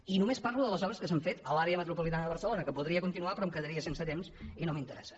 i només parlo de les obres que s’han fet a l’àrea metropolitana de barcelona que podria continuar però em quedaria sense temps i no m’interessa